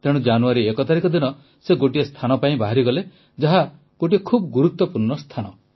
ତେଣୁ ଜାନୁଆରୀ 1 ତାରିଖ ଦିନ ସେ ଗୋଟିଏ ସ୍ଥାନ ପାଇଁ ବାହାରିଲେ ଯାହା ଗୋଟିଏ ଖୁବ୍ ଗୁରୁତ୍ୱପୂର୍ଣ୍ଣ ସ୍ଥାନ